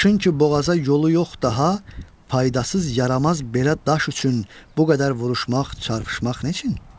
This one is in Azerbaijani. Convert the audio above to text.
Daşın ki boğaza yolu yox daha, faydasız yaramaz belə daş üçün bu qədər vuruşmaq, çarpışmaq nə üçün?